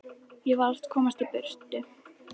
Ég varð að komast í burtu.